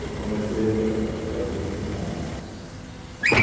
eu comecei a a fazer o ginásio.